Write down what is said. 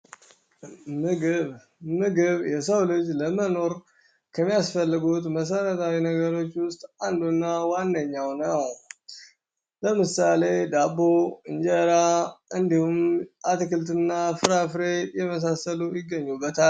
ምግብ ምግብ የሰው ልጅ ለመኖር ከሚያስፈልጉት መሰረታዊ ነገሮች ውስጥ አንዱ እና ዋነኛው ነው። ለምሳሌ ዳቦ፣ እንጀራ፣ እንዲሁ አትክልት እና ፍራፍሬ የመሳሰሉ ይገኙበታል።